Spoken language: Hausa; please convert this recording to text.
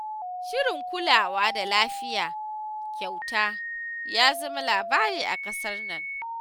Shirin kulawa da lafiya kyauta ya zama labari a ƙasar nan.